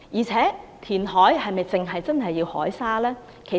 此外，填海是否只可以用海沙？